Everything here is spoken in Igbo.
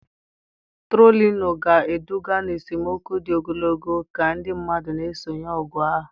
Trolinuu ga-eduga n'esemokwu dị ogologo ka ndị mmadụ na-esonyere ọgụ ahụ.